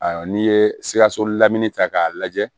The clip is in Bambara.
Ayiwa n'i ye sikaso lamini ta k'a lajɛ